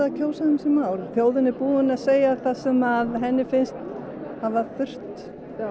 kjósa um þessi mál þjóðin er búin að segja það sem henni finnst hafa þurft